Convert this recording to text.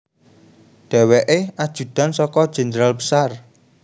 Dhèwèkè ajudan saka Jenderal Besar